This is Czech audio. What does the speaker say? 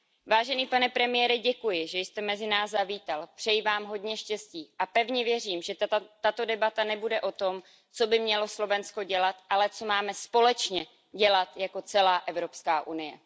Vážený pane premiére, děkuji, že jste mezi nás zavítal, přeji vám hodně štěstí a pevně věřím, že tato debata nebude o tom, co by mělo Slovensko dělat, ale co máme společně dělat jako celá Evropská unie.